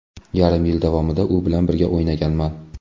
Yarim yil davomida u bilan birga o‘ynaganman.